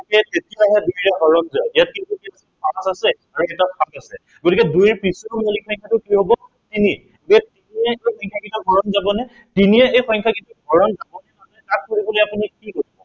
এতিয়াহে দুইৰে হৰণ যাব। ইয়াত কিন্তু সাত আছে আৰু এটা সাত আছে। গতিকে দুইৰ পিছৰ মৌলিক সংখ্য়াটো কি হব তিনি। এতিয়া তিনিৰে এই সংখ্য়াকেইটা হৰণ যাবনে? তিনিৰে এই সংখ্য়াকেইটা হৰণ যাবনে নাযায় তাক চাবলৈ আপুনি কি কৰিব লাগিব